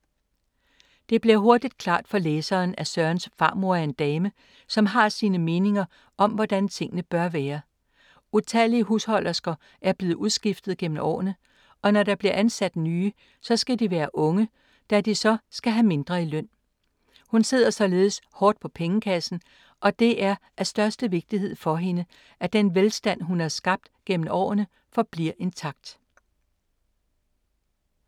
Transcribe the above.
Det bliver hurtigt klart for læseren at Sørens farmor er en dame, som har sine meninger om hvordan tingene bør være. Utallige husholdersker er blevet udskiftet gennem årene og når der bliver ansat nye, så skal de være unge, da de så skal have mindre i løn. Hun sidder således hårdt på pengekassen og det er af største vigtighed for hende, at den velstand hun har skabt gennem årene, forbliver intakt.